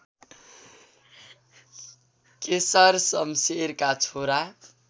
केशरशमशेरका छोरा